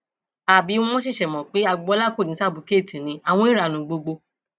àbí wọn ṣẹṣẹ mọ pé agboola kò ní ṣàbùkẹẹtì ni àwọn ẹńránú gbogbo